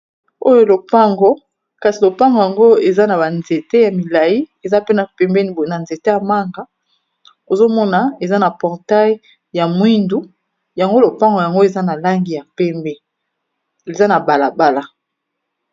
Oyo lopango , kasi lopango yango eza na ba nzéte ya milayi , eza pena pembéni boye na nzéte ya manga , ozomona eza na portail ya mwindu ,yango, lopango yango eza na langi ya pembé eza na balabala